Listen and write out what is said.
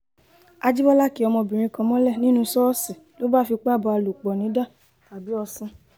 àjìbọlá kí ọmọbìnrin kan mọ́lẹ̀ nínú ṣọ́ọ̀ṣì ló bá fipá bá a lò pọ̀ nidà-òsìn